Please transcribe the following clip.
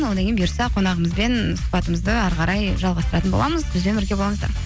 одан кейін бұйырса қонағымызбен сұхбатымызды әрі қарай жалғастыратын боламыз бізбен бірге болыңыздар